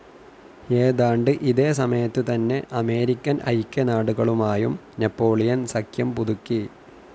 ഏതാണ്ട് ഇതേ സമയത്തുതന്നെ അമേരിക്കൻ ഐക്യനാടുകളുമായും നാപ്പോളിയൻ സഖ്യം പുതുക്കി.